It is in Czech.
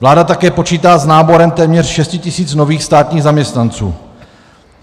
Vláda také počítá s náborem téměř 6 tisíc nových státních zaměstnanců.